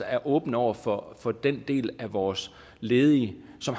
er åbne over for for den del af vores ledige som